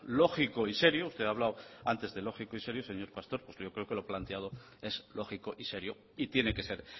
lógico y serio usted ha hablado antes de lógico y serio señor pastor pues yo creo que lo planteado es lógico y serio y tiene que ser